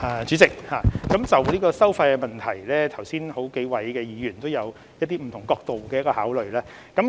主席，關於收費的問題，剛才幾位議員也有提出不同角度的考慮。